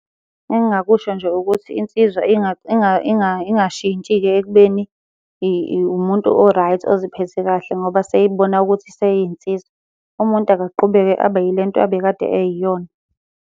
Engingakusho nje ukuthi insizwa ingashintshi-ke ekubeni umuntu o-right oziphethe kahle ngoba seyibona ukuthi seyinsizwa. Umuntu akaqhubeke abe yile nto abekade eyiyona.